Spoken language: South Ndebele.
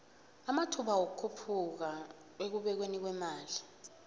amathba wikukhuphuka ekubekweni kwemali